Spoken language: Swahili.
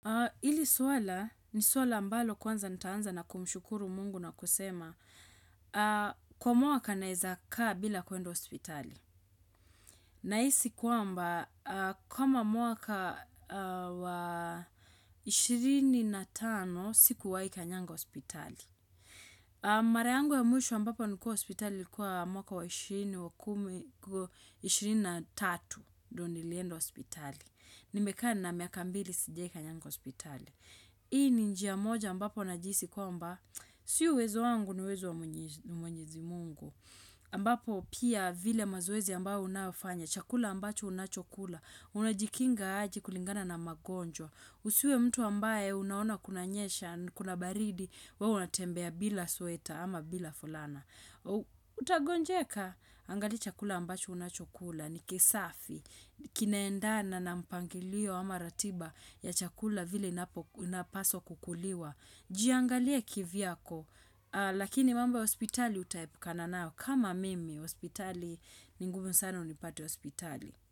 Hili swala, ni swala ambalo kwanza nitaanza na kumshukuru mungu na kusema Kwa mwaka naeza kaa bila kuenda hospitali Nahisi kwamba, kama mwaka wa ishirini na tano sikuwai kanyanga hospitali Mara yangu ya mwisho ambapo nilikuwa hospitali ilikua mwaka wa 20, 23 ndio nilienda hospitali Nimekaa na miaka mbili sijai kanyanga hospitali Hii ni njia moja ambapo najisi kwamba, sio uwezo wangu ni uwezo wa mwenyezi mungu. Ambapo pia vile mazoezi ambayo unafanya, chakula ambacho unachokula, unajikinga aje kulingana na magonjwa. Usiwe mtu ambaye unaona kunanyesha, kuna baridi, wewe unatembea bila sweta ama bila fulana. Utagonjeka, angalia chakula ambacho unachokula, ni kisafi, Kinaendana nampangilio ama ratiba ya chakula vile inapaswa kukuliwa, jiangalie kivyako, lakini mambo ya hospitali utaepukana nao. Kama mimi, hospitali ni ngumu sana unipate hospitali.